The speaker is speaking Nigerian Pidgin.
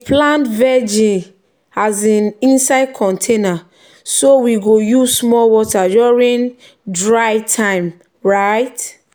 we plant vegi um inside container so we go use small water during dry time. um